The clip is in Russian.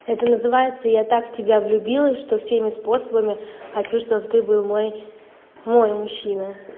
это называется я так в тебя влюбилась что всеми способами хочу чтобы ты был мой мой мужчина